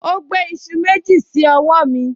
O gbé iṣu méjì sí ọwọ́ mi